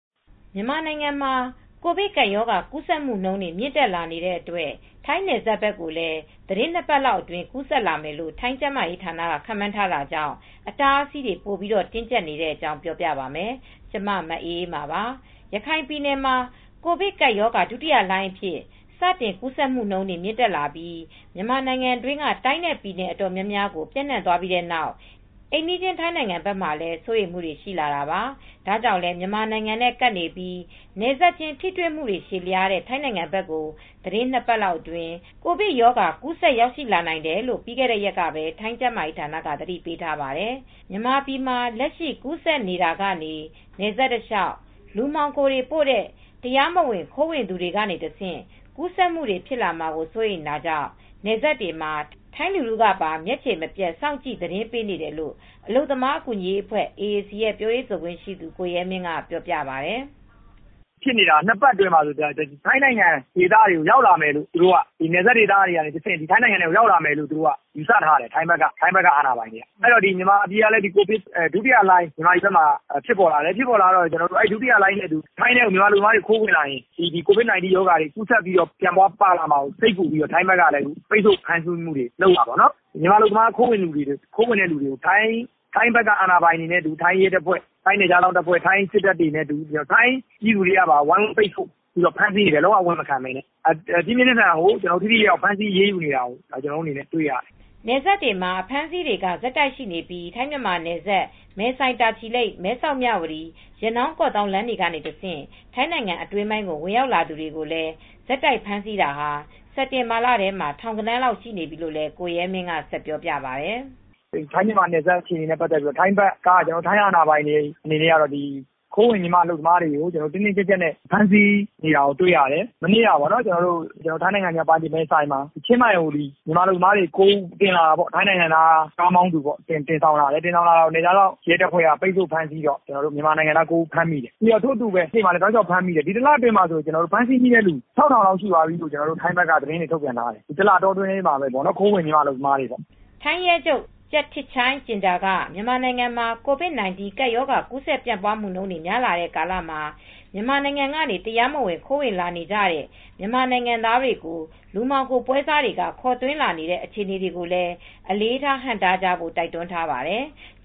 မြန်မာနိုင်ငံမှာ ကိုဗစ်ကပ်ရောဂါ ကူးစက်မှုနှုန်း မြင့်တက်လာနေတဲ့အတွက် ထိုင်းနယ်စပ်ဘက်ကိုလည်း သီတင်းနှစ်ပတ်လောက်အတွင်း ကူးစက်လာမယ်လို့ ထိုင်းကျန်းမာရေးဌာနက ခန့်မှန်းထားတာကြောင့် အတားအဆီးတွေ ပိုပြီးတင်းကြပ်နေတဲ့အကြောင်း ပြောပြပါမယ်။ ဗွီအိုအေမြန်မာပိုင်းသတင်းထောက် မအေးအေးမာက ထိုင်း မြန်မာနယ်စပ်ကနေ သတင်းပေးပို့ထားပါတယ်။ ရခိုင်ပြည်နယ်မှာ ကိုဗစ်ကပ်ရောဂါ ဒုတိယလှိုင်းအဖြစ် စတင်ကူးစက်မှုနှုန်းတွေ မြင့်တက်လာပြီး မြန်မာနိုင်ငံတွင်းက တိုင်းနဲ့ ပြည်နယ် အတော်များများကို ပျံ့နှံ့သွားပြီးတဲ့နောက် အိမ်နီးချင်း ထိုင်းနိုင်ငံဘက်မှာလည်း စိုးရိမ်မှုတွေ ရှိလာတာပါ။ ဒါကြောင့်လည်း မြန်မာနိုင်ငံနဲ့ကပ်နေပြီး နယ်စပ်ချင်းထိတွေ့မှု ရှည်လျားတဲ့ ထိုင်းနိုင်ငံဘက်ကို သီတင်းနှစ်ပတ်အတွင်း ကိုဗစ်ရောဂါ ကူးစက်ရောက်ရှိလာနိုင်တယ်လို့ ပြီးခဲ့တဲ့ ရက်ကပဲ ထိုင်းကျန်းမာရေးဌာနက သတိပေးထားပါတယ်။ မြန်မာပြည်မှာ လက်ရှိ ကူးစက်နေတာကနေ နယ်စပ်တလျှောက် လူမှောင်ခိုတွေ ပို့တဲ့ တရားမဝင် ခိုးဝင်သူတွေကနေတဆင့် ကူးစက်မူဖြစ်မှာကို စိုးရိမ်တာကြောင့် နယ်စပ်တွေမှာ ထိုင်းလူထုကပါ မျက်ခြေမပြတ်စောင့်ကြည့် သတင်းပေးနေတယ်လို့ အလုပ်သမားအကူညီရေးအဖွဲ ့AAC ရဲ့ပြောရေးဆိုခွင့်ရှိသူ ကိုရဲမင်းက အခုလိုပြောပြပါတယ်။ "နှစ်ပတ်အတွင်းကို နယ်စပ်ဒေသကနေ ထိုင်းဘက်ကို ရောက်လာမယ်လို့ ယူဆထားတယ် ထိုင်းအာဏာပိုင်တွေက။ မြန်မာပြည်ဘက်ကလည်း ကိုဗစ်ဒုတိယလှိုင်းဖြစ်ပေါ်လာတယ်။ ဒုတိယလှိုင်းနဲ့အတူ ထိုင်းထဲကို မြန်မာအလုပ်သမားတွေ ခိုးဝင်လာရင် COVID 19 ရောဂါတွေ ကူးစက်ပြီးတော့ ပြန့်ပွားပါလာမှာ စိတ်ပူပြီးတော့ ထိုင်းဘက်ကလည်း ပိတ်ဆို့ဖမ်းဆီးမှုတွေ လုပ်လာတာပေါ့နော်။ မြန်မာအလုပ်သမား ခိုးဝင်တဲ့သူတွေကို ထိုင်းဘက်က အာဏာပိုင်တွေနဲ့အတူ ထိုင်း ရဲတပ်ဖွဲ့၊ ထိုင်း နယ်ခြားစောင့်တပ်ဖွဲ့၊ ထိုင်းစစ်တပ်နဲ့အတူ ထိုင်းပြည်သူတွေကပါ ဝိုင်းဝန်း ပူးပေါင်းပြီး ဖမ်းဆီးနေတယ် လုံးဝအ၀င်မခံဘဲနဲ့။ ပြင်းပြင်းထန်ထန်ကို ဖမ်းဆီးပိတ်ဆို့ အရေးယူနေတာကို ကျနော်တို့ အနေနဲ့ တွေ့ရတယ်။" နယ်စပ်တွေမှာ အဖမ်းအဆီးတွေက ဆက်တိုက်ရှိနေပြီး ထိုင်းမြန်မာနယ်စပ် မဲဆိုင်တာချီလိပ်မဲဆောက်မြဝတီ၊ ရနောင်းကော့သောင်းလမ်းတွေက တဆင့် ထိုင်းနိုင်ငံအတွင်းပိုင်းကို ဝင်ရောက်လာသူတွေကိုလည်း ဆက်တိုက်ဖမ်းဆီးတာဟာ စက်တင်ဘာလထဲမှာပဲ ထောင်ဂဏန်းလောက်ရှိနေပြီလို့ကိုရဲမင်းကဆက်ပြောပြပါတယ်။ "ထိုင်းမြန်မာနယ်စပ်အခြေအနေနဲ့ ပတ်သက်ပြီး ထိုင်းဘက်က ထိုင်းအာဏာပိုင်တွေအနေနဲ့ကတော့ ခိုးဝင်မြန်မာအလုပ်သမားတွေကို တင်းတင်းကြပ်ကြပ်နဲ့ ဖမ်းဆီးနေတာကို တွေ့ရတယ်။ ထိုင်းမြာက်ပိုင်းမဲဆိုင်မှာ ချင်းမိုင်ကို မဲဆိုင်နယ်စပ်ကနေ မြန်မာအလုပ်သမားတွေကို တင်လာတာ... ထိုင်းနိုင်ငံသားက တင်လာတာ ရဲတပ်ဖွဲ့က ပိတ်ဆို့ ဖမ်းဆီးတော့ မြန်မာနိုင်ငံသား ၉ ဦးဖမ်းမိတယ်။ ထို့အတူပဲ ရှေ့မှာလည်း တောက်လျှောက်ဖမ်းမိတယ်။ ဒီတလအတွင်းမှာဆိုရင် ဖမ်းမိတာဆိုရင် လူဦးရေ ၆,၀၀၀ လောက်ရှိသွားပြီလို့ ထိုင်းဘက်က သတင်းတွေ ထုတ်ပြန်ထားတယ်။ ဒီတလအတွင်းမှာပဲပေါ့ ခိုးဝင်မြန်မာအလုပ်သမားတွေပေါ့။" ထိုင်းရဲချုပ် Chakthip Chaijinda က မြန်မာနိုင်ငံမှာ ကိုဗစ်-၁၉ ကပ်ရောဂါ ကူးဆက်ပြန့်ပွားမှုနှုန်း များလာနေတဲ့ကာလမှာ မြန်မာနိုင်ငံကနေ တရားမဝင် ခိုးဝင်လာနေကြတဲ့ မြန်မာနိုင်ငံသားတွေကို လူမှောင်ခို ပွဲစားတွေက ခေါ်သွင်းလာနေတဲ့ အခြေအနေတွေကိုလည်း အလေးထား ဟန့်တားကြဖို့ တိုက်တွန်းထားပါတယ်။